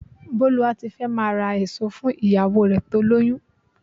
Bólúwátifẹ́ máa ra èso fún ìyàwó rẹ tó lóyún.